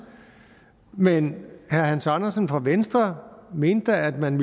men herre hans andersen fra venstre mente da at man